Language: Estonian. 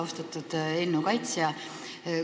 Austatud eelnõu kaitsja!